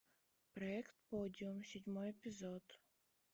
проект подиум седьмой эпизод